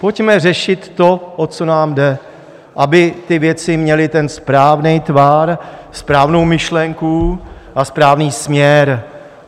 Pojďme řešit to, o co nám jde, aby ty věci měly ten správný tvar, správnou myšlenku a správný směr.